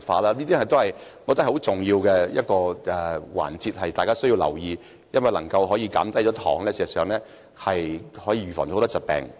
我覺得這是大家需要留意的重要環節，因為能減低糖的攝取，事實上可預防很多疾病。